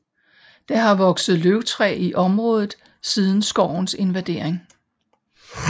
Der har vokset løvtræ i området siden skovens invandring